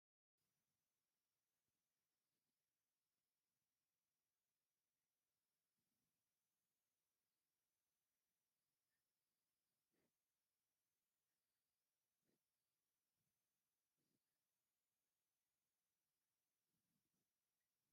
መብዛሕቲእን ደቂ ኣንስትዮ ኣብእዝነን ኣብ ኣፍንጭኣን እየን ስቆሪኦ ። እቲ ኣብ እዝኒ ዝስቆር እውን ኣብ ሓንቲ እዮ ዝስቁር ነይሩ ። እስካትኵን ኣብ ክንደይ ተሰቂርክን ?